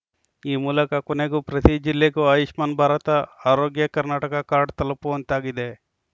ಈ ಮೂಲಕ ಕೊನೆಗೂ ಪ್ರತಿ ಜಿಲ್ಲೆಗೂ ಆಯುಷ್ಮಾನ್‌ ಭಾರತ ಆರೋಗ್ಯ ಕರ್ನಾಟಕ ಕಾರ್ಡ್‌ ತಲುಪುವಂತಾಗಿದೆ